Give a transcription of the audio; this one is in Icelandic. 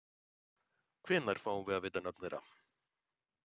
Hvenær fáum við að vita nöfn þeirra?